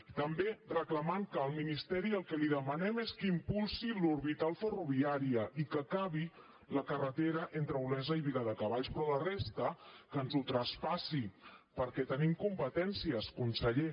i també reclamant que al ministeri el que li demanem és que impulsi l’orbital ferroviària i que acabi la carretera entre olesa i viladecavalls però la resta que ens ho traspassi perquè tenim competències conseller